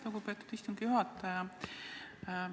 Lugupeetud istungi juhataja!